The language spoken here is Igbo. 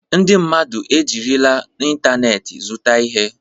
Ndị mmadụ ejirila ịntanetị zụta ihe.